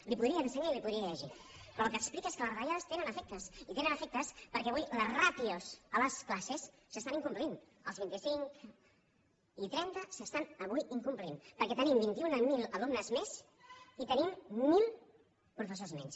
l’hi podria ensenyar i l’hi podria llegir però el que explica és que les retallades tenen efectes i tenen efectes perquè avui les ràtios a les classes s’estan incomplint els vint i cinc i trenta s’estan avui incomplint perquè tenim vint i un mil alumnes més i tenim mil professors menys